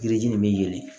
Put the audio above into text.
Yiri ji nin bɛ yɛlɛ